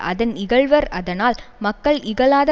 அதன் இகழ்வர் அதனால் மக்கள் இகழாத